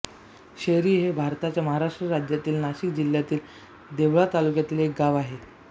शेरी हे भारताच्या महाराष्ट्र राज्यातील नाशिक जिल्ह्यातील देवळा तालुक्यातील एक गाव आहे